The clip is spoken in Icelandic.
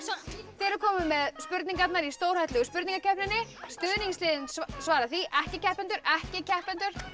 þið eruð komin með spurningarnar í stórhættulegu spurningakeppninni stuðningsliðin svara því ekki keppendur ekki keppendur